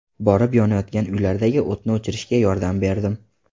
Borib, yonayotgan uylardagi o‘tni o‘chirishga yordam berdim.